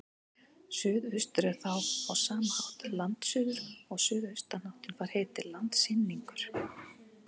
Suðaustur er þá á sama hátt landsuður og suðaustanáttin fær heitið landsynningur.